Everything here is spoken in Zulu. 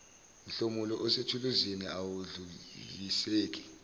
mhlomulo osethuluzini awedluliseki